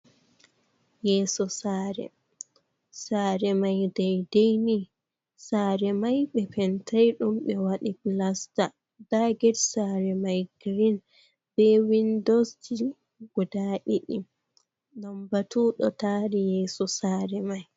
Yeso saare, saare mai dedei ni. Saare mai ɓe pentai ɗum, ɓe waɗi plasta. Nda get saare mai green be windoji guda ɗiɗi. Lambatu ɗo taari yeso saare mai.